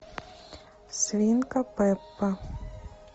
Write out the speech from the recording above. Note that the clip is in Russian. свинка пеппа